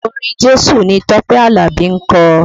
Orin Jésù ni Tọ́pẹ́ Alabi ń kọ